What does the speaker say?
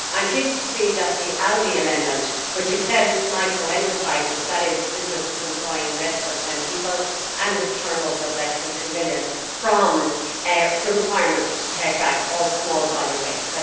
I am pleased with the ALDE amendment which exempts micro enterprises that is businesses employing less than 10 people and with a turnover of less than two million from the requirement to take back all small volume waste.